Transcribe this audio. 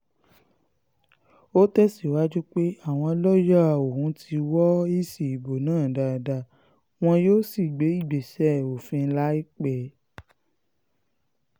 ó tẹ̀síwájú pé àwọn lọ́ọ̀yà òun ti wọ èsì ìbò náà dáadáa wọn yóò sì gbé ìgbésẹ̀ òfin láìpẹ́